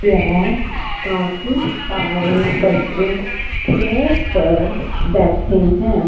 यह काफी सारे बच्चे चेयर्स पर बैठे हैं।